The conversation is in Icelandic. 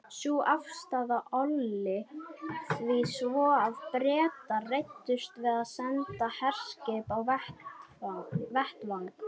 Sú afstaða olli því svo að Bretar reiddust við og sendu herskip á vettvang.